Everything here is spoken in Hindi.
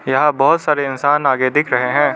यहां बहोत सारे इंसान आगे दिख रहे है।